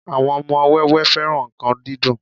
àwọn ọmọ wẹ́wẹẹ́ féràn nkan dídùn